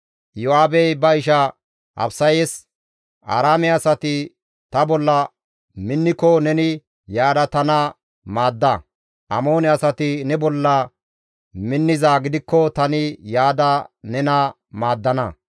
Iyo7aabey ba isha Abisayes, «Aaraame asati ta bolla minniko neni yaada tana maadda; Amoone asati ne bolla minnizaa gidikko tani yaada nena maaddana.